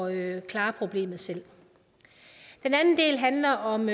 at klare problemet selv den anden del handler om